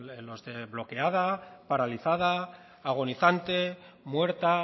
los de bloqueada paralizada agonizante muerta